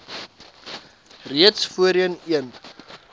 reeds voorheen een